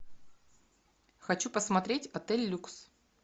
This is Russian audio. хочу посмотреть отель люкс